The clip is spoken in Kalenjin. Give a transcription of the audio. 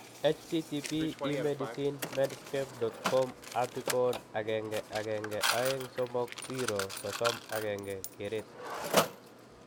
http://emedicine.medscape.com/article/1123031 keret